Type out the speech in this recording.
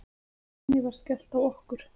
Skuldinni var skellt á okkur.